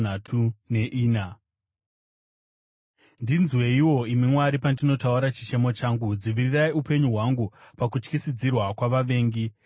Ndinzweiwo, imi Mwari, pandinotaura chichemo changu; dzivirirai upenyu hwangu pakutyisidzira kwavavengi.